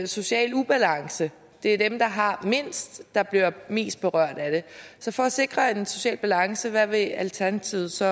social ubalance det er dem der har mindst der bliver mest berørt af det så for at sikre en social balance hvad vil alternativet så